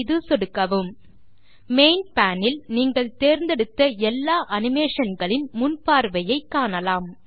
மீது சொடுக்கவும் main pane இல் நீங்கள் தேர்ந்தெடுத்த எல்லா அனிமேஷன் களின் முன் பார்வையை காணலாம்